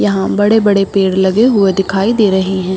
यहां बड़े-बड़े पेड़ लगे हुए दिखाई दे रहे है।